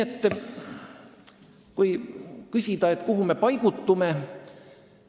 Te küsite, kuhu me paigutume.